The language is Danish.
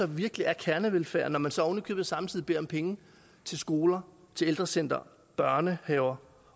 virkelig er kernevelfærd når man så oven i købet samtidig beder om penge til skoler til ældrecentre børnehaver